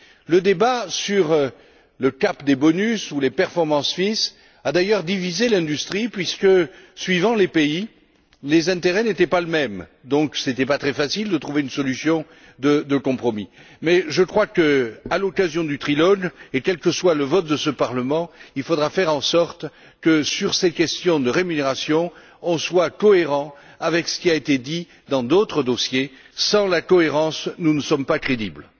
Le débat sur le plafonnement des bonus ou les commissions de performance a d'ailleurs divisé l'industrie puisque, suivant les pays, les intérêts n'étaient pas les mêmes. Par conséquent, ce n'était pas très facile de trouver une solution de compromis. Mais je crois que, à l'occasion du trilogue, et quel que soit le vote de ce Parlement, il faudra faire en sorte que, sur ces questions de rémunérations, nous soyons cohérents avec ce qui a été dit dans d'autres dossiers. Sans la cohérence, nous ne sommes pas crédibles.